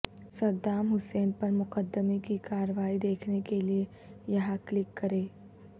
Saddam Hussein پر مقدمے کی کارروائی دیکھنے کے لئے یہاں کلک کریں